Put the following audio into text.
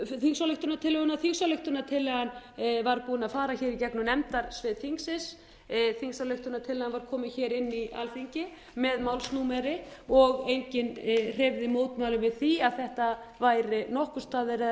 þingsályktunartillöguna þingsályktunartillagan var búin að fara hér í gegnum nefndasvið þingsins þingsályktunartillagan var komin hér inn í alþingi með málsnúmer og enginn hreyfði mótmælum við því að þetta væri nokkurs staðar eða